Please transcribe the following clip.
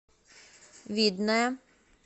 видное